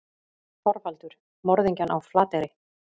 ÞORVALDUR: Morðingjann á Flateyri.